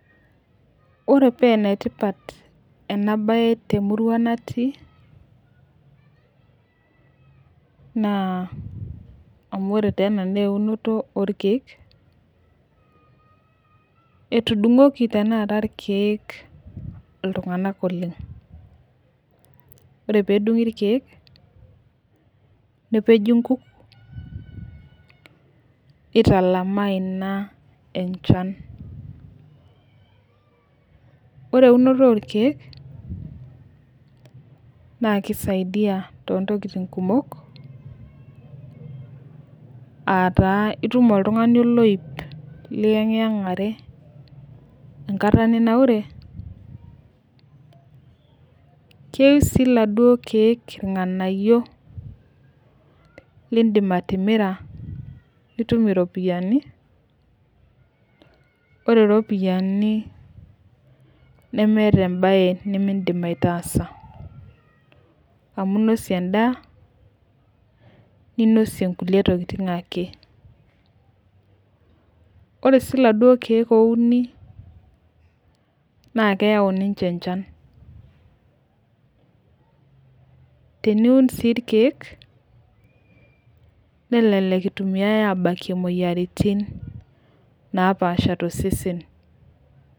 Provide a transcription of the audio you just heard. Ore paa ene tipat ena bae temurua natii naa. amu ore taa ena naa eunoto orkeek, etudung'oki tenakata irkeek iltunganak oleng. ore peedungi irkeek, nepeji nkuk, nitalamaa Ina enchan. ore eunoto orkeek, naa kisaidia too ntokitin kumok aa taa itum oltungani oloip liyengiyangare enkata ninanaure. keyieu sii iladuoo keek irnganayio. lidim atimira nitum iropiyiani ,ore iropiyiani, nemeeta ebae nimidim aitaasa. amu inosie edaa ninosie nkulie tokitin ake. ore sii iladuoo keek ouni, naa keyau ninche echan. teniun sii irkeek, neleleku itumiae abakie imoyiaritin. napaasha tosesen.